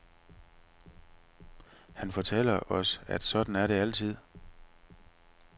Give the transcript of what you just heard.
Han fortæller os, at sådan er det altid.